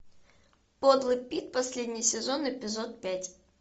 подлый пит последний сезон эпизод пять